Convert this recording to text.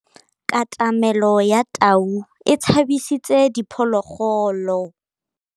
Katamêlô ya tau e tshabisitse diphôlôgôlô.